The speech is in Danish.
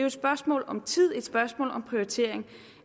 et spørgsmål om tid et spørgsmål om prioritering